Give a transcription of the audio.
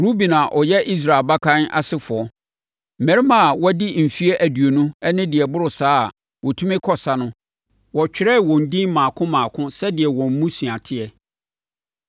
Ruben a ɔyɛ Israel abakan asefoɔ: Mmarima a wɔadi mfeɛ aduonu ne deɛ ɛboro saa a wɔtumi kɔ ɔsa no, wɔtwerɛɛ wɔn edin mmaako mmaako sɛdeɛ wɔn mmusua teɛ.